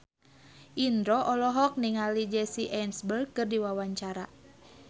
Indro olohok ningali Jesse Eisenberg keur diwawancara